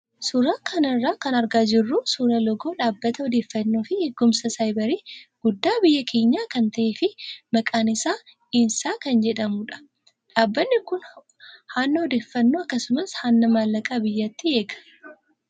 Suuraa kana irraa kan argaa jirru suuraa loogoo dhaabbata odeeffannoo fi eegumsa saayibarii guddaa biyya keenyaa kan ta'ee fi maqaan isaa INSA kan jedhamudha. Dhaabbatni kun hanna odeeffannoo akkasumas hanna maallaqaa biyyattii eega.